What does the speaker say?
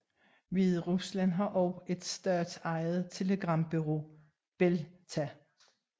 Hviderusland har også et statsejet telegrambureau BelITA